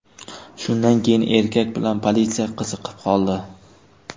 Shundan keyin erkak bilan politsiya qiziqib qoldi.